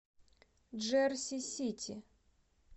джерси сити